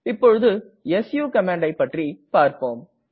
இப்போது suகமாண்டை பற்றி பார்ப்போம்